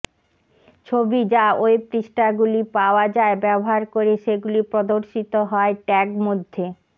ছবি যা ওয়েব পৃষ্ঠাগুলি পাওয়া যায় ব্যবহার করে সেগুলি প্রদর্শিত হয় ট্যাগ মধ্যে